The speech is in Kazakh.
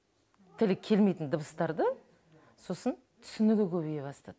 тілі келмейтін дыбыстарды сосын түсінігі көбейе бастады